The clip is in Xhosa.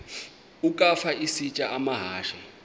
ukafa isitya amahashe